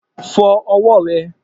Fo̩ o̩wó̩ re̩!